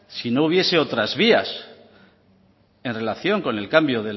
si no hubiese otras vías en relación con el cambio